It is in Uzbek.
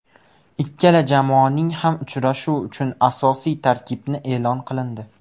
Ikkala jamoaning ham uchrashuv uchun asosiy tarkibni e’lon qilindi.